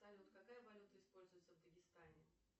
салют какая валюта используется в дагестане